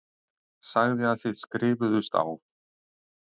Sagði að þið skrifuðust á.